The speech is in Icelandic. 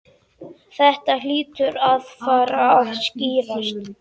Þetta hlýtur að fara að skýrast